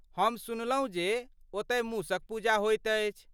हम सुनलहुँ जे ओतय मूसक पूजा होइत अछि!